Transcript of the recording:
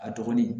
A dɔgɔnin